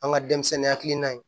An ka denmisɛnnin hakilina in